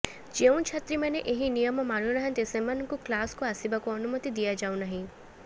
ଯେଉଁ ଛାତ୍ରୀମାନେ ଏହି ନିୟମ ମାନୁନାହାନ୍ତି ସେମାନଙ୍କୁ କ୍ଲାସକୁ ଆସିବାକୁ ଅନୁମତି ଦିଆଯାଉନାହିଁ